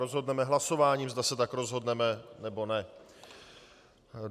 Rozhodneme hlasováním, zda se tak rozhodneme, nebo ne.